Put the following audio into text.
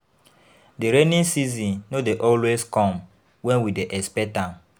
Di rainy season no dey always come wen we dey expect am.